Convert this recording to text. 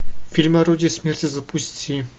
фильм орудие смерти запусти